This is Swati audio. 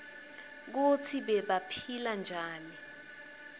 kutsi bebaphila njani